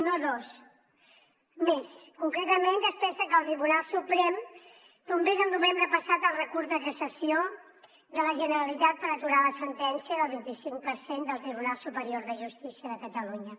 no dos més concretament després de que el tribunal suprem tombés el novembre passat el recurs de cassació de la generalitat per aturar la sentència del vint i cinc per cent del tribunal superior de justícia de catalunya